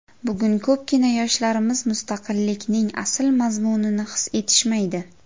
Bugun ko‘pgina yoshlarimiz mustaqillikning asl mazmunini his etishmaydi.